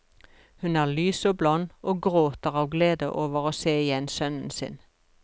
Hun er lys og blond, og gråter av glede over å se igjen sønnen sin.